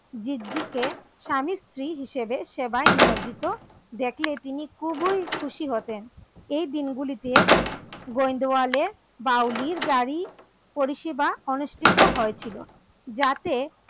জিতজী কে স্বামী স্ত্রী হিসাবে সেবায় নিয়োজিত দেখলে তিনি খুবুই খুশি হতেন। এই দিন গুলিতে গয়েন্দ্বালে বাউলির গাড়ি পরিষেবা অনুষ্ঠিত হয়েছিল যাতে,